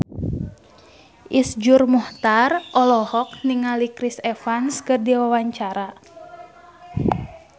Iszur Muchtar olohok ningali Chris Evans keur diwawancara